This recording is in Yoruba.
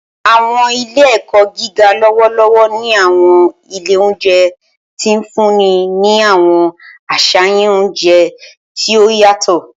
Awọn ile-ẹkọ giga lọwọlọwọ ni awọn ile ounjẹ ti n funni ni awọn aṣayan ounjẹ ti o yatọ.